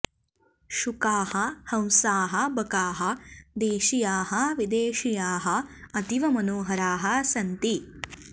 शुकाः हंसाः बकाः देशीयाः विदेशीयाः अतीव मनोहराः सन्ति